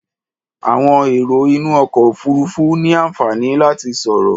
Àwọn èrò inú ọkọ̀ òfuurufú ní àǹfààní láti sọ̀rọ̀.